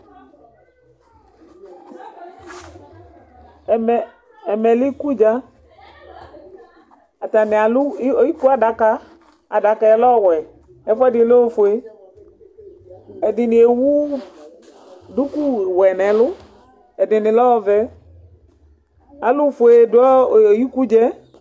Ɛmɛ, ɛmɛ lɛ ikudza Atani alʋ iku adaka Adaka yɛ lɛ ɔwɛ, ɛfuɛdi lɛ ofue Ɛdini ewu duku wɛ n'ɛlʋ Ɛdini lɛ ɔvɛ Alʋfue dʋ ikudza ɛ